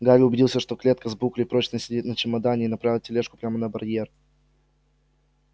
гарри убедился что клетка с буклей прочно сидит на чемодане и направил тележку прямо на барьер